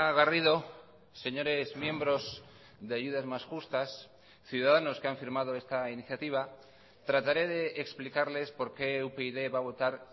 garrido señores miembros de ayudas más justas ciudadanos que han firmado esta iniciativa trataré de explicarles por qué upyd va a votar